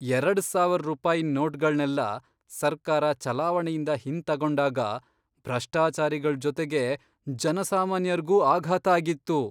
ಎರಡ್ ಸಾವರ್ ರೂಪಾಯಿನ್ ನೋಟ್ಗಳ್ನೆಲ್ಲ ಸರ್ಕಾರ ಚಲಾವಣೆಯಿಂದ ಹಿಂತಗೊಂಡಾಗ ಭ್ರಷ್ಟಚಾರಿಗಳ್ ಜೊತೆಗೆ ಜನಸಾಮಾನ್ಯರ್ಗೂ ಆಘಾತ ಆಗಿತ್ತು.